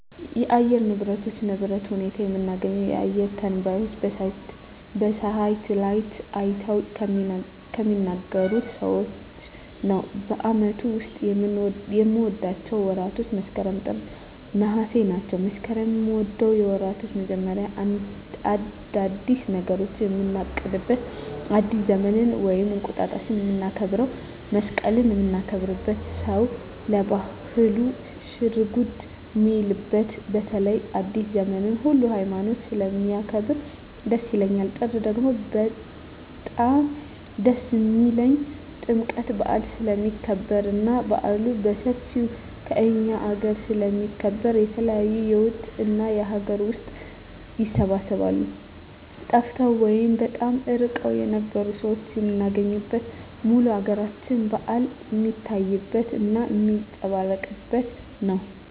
የአየር ንብረቶች ንብረት ሁኔታ የምናገኘው አየረ ተነባዩች በሳሀትአላይት አይተው ከሚናገሩት ሰዎች ነው በአመቱ ዉስጥ ከምወዳቸው ወራቶች መስከረም ጥር ነሃሴ ናቸው መስከረምን ምወደው የወራቶች መጀመሪያ አዳዲስ ነገሮችን ምናቅድበት አዲስ ዘመንን ወይም እንቁጣጣሽ ምናከብረው መሰቀልን ምናከብርበት ሰው ለባህሉ ሽርጉድ ሚልበት በተለይ አዲሰ ዘመንን ሁሉ ሀይማኖት ስለሚያከብር ደስ ይላል ጥር ደግሞ በጣም ደስ የሚልኝ ጥምቀት በአል ስለሚከበር እና በአሉ በሠፌው ከእኛ አገረ ስለሚከበር የተለያዩ የውጭ እና የአገር ውስጥ ይሰባሰባሉ ጠፍተው ወይም በጣም እርቀዉን የነበሩ ሠዎች ምናገኝበት ሙሉ የአገራችን በአል ሜታይበት እና ሜጸባረቅበት ነው